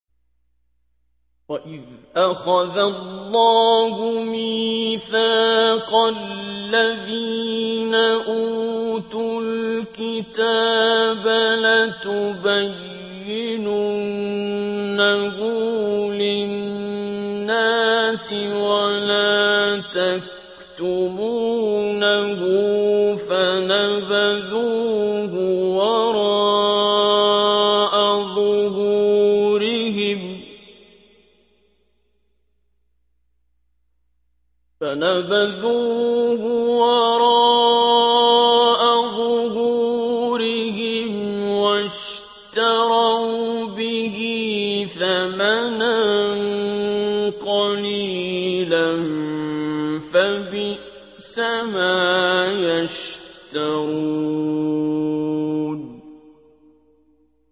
وَإِذْ أَخَذَ اللَّهُ مِيثَاقَ الَّذِينَ أُوتُوا الْكِتَابَ لَتُبَيِّنُنَّهُ لِلنَّاسِ وَلَا تَكْتُمُونَهُ فَنَبَذُوهُ وَرَاءَ ظُهُورِهِمْ وَاشْتَرَوْا بِهِ ثَمَنًا قَلِيلًا ۖ فَبِئْسَ مَا يَشْتَرُونَ